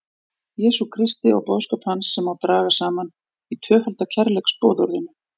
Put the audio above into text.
Jesú Kristi og boðskap hans sem má draga saman í tvöfalda kærleiksboðorðinu.